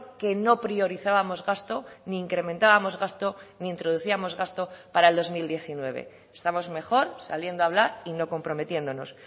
que no priorizábamos gasto ni incrementábamos gasto ni introducíamos gasto para el dos mil diecinueve estamos mejor saliendo a hablar y no comprometiéndonos